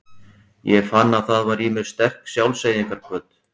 Ég fann að það var í mér sterk sjálfseyðingarhvöt.